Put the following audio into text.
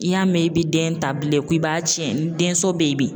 I y'a mɛn i bɛ den ta bilen ko i b'a tiɲɛ, ni den so bɛyi bi.